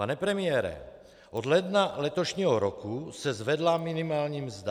Pane premiére, od ledna letošního roku se zvedla minimální mzda.